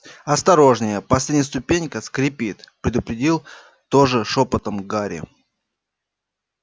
осторожнее последняя ступенька скрипит предупредил тоже шёпотом гарри